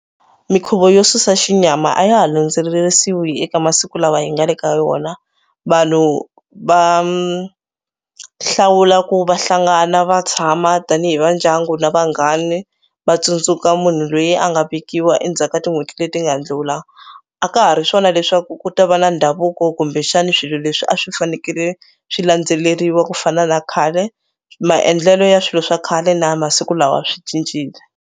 Mikhuvo yo susa xinyama a ya ha landzelerisiwa eka masiku lawa hi nga le ka wona. Vanhu va hlawula ku va hlangana va tshama tanihi vandyangu na vanghani va tsundzuka munhu loyi a nga vekiwa endzhaku ka tin'hweti leti nga ndlhula. A ka ha ri swona leswaku ku ta va na ndhavuko kumbexani swilo leswi a swi fanekele swi landzeleriwa ku fana na khale. Maendlelo ya swilo swa khale na ya masiku lawa swi cincile.